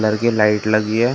हल्की लाइट लगी है ।